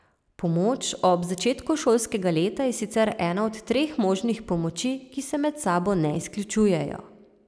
Pomoč ob začetku šolskega leta je sicer ena od treh možnih pomoči, ki se med sabo ne izključujejo.